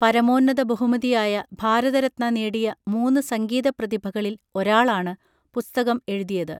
പരമോന്നത ബഹുമതിയായ ഭാരതരത്ന നേടിയ മൂന്ന് സംഗീത പ്രതിഭകളിൽ ഒരാളാണ് പുസ്തകം എഴുതിയത്